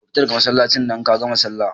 Ka fita daga Masallacin nan in kagama sallah